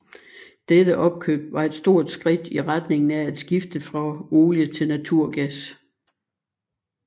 Dette opkøb var et stort skridt i retningen af at skifte fra olie til naturgas